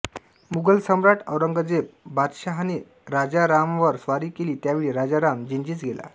मुघल सम्राट औरंगजेब बादशहाने राजारामावर स्वारी केली त्यावेळी राजाराम जिंजीस गेला